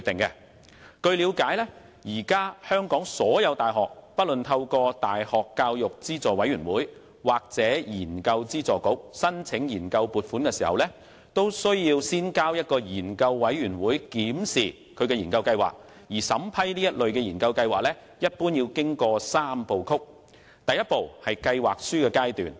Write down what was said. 據了解，香港各大學現時透過大學教育資助委員會或研究資助局申請研究撥款時，須先將研究計劃交由一個研究委員會檢視，而審批該類研究計劃一般須經過三步曲：第一步為計劃書階段。